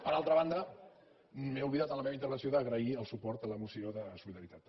per altra banda m’he oblidat en la meva intervenció d’agrair el suport a la moció de solidaritat també